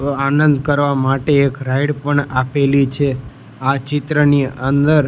આનંદ કરવા માટે એક રાઇડ પણ આપેલી છે આ ચિત્રની અંદર --